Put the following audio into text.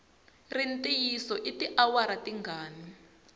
ri ntiyiso i tiawara tingani